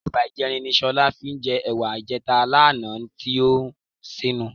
Ẹ̀ba ìjẹrin ni Sọlá fi jẹ ẹ̀wà ìjẹta lánàá tí ó ṣínu.